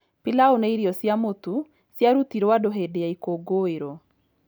Pilau nĩ irio cia mũtu ciarutĩrũo andũ hĩndĩ ya ikũngũĩro.